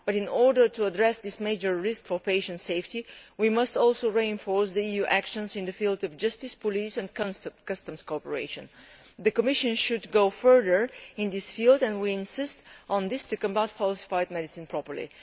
But in order to address this major risk for patients' safety, we must also reinforce EU actions in the field of justice, police and customs cooperation. The Commission should go further in this field and we insist on this to combat falsified medicines properly.